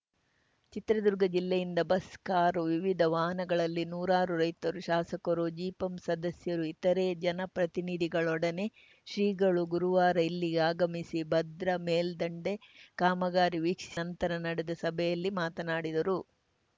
ಚಿತ್ರದುರ್ಗ ಜಿಲ್ಲೆಯಿಂದ bus car ವಿವಿಧ ವಾಹನಗಳಲ್ಲಿ ನೂರಾರು ರೈತರು ಶಾಸಕರು ಜಿಪಂ ಸದಸ್ಯರು ಇತರೇ ಜನಪ್ರತಿನಿಧಿಗಳೊಡನೆ ಶ್ರೀಗಳು ಗುರುವಾರ ಇಲ್ಲಿಗೆ ಆಗಮಿಸಿ ಭದ್ರಾ ಮೇಲ್ದಂಡೆ ಕಾಮಗಾರಿ ವೀಕ್ಷಿಸಿ ನಂತರ ನಡೆದ ಸಭೆಯಲ್ಲಿ ಮಾತನಾಡಿದರು